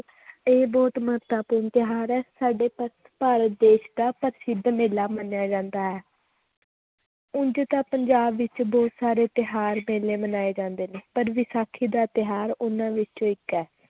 ਇਹ ਬਹੁਤ ਮਹੱਤਵਪੂਰਨ ਤਿਉਹਾਰ ਹੈ ਸਾਡੇ ਭਾ ਭਾਰਤ ਦੇਸ ਦਾ ਪ੍ਰਸਿੱਧ ਮੇਲਾ ਮੰਨਿਆ ਜਾਂਦਾ ਹੈ ਉਞ ਤਾਂ ਪੰਜਾਬ ਵਿੱਚ ਬਹੁਤ ਸਾਰੇ ਤਿਉਹਾਰ ਮੇਲੇ ਮਨਾਏ ਜਾਂਦੇ ਨੇ ਪਰ ਵਿਸਾਖੀ ਦਾ ਤਿਉਹਾਰ ਉਹਨਾਂ ਵਿੱਚੋਂ ਇੱਕ ਹੈ